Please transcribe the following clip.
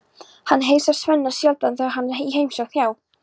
Hann heilsar Svenna sjaldan þegar hann er í heimsókn hjá